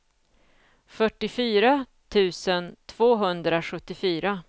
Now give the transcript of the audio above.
fyrtiofyra tusen tvåhundrasjuttiofyra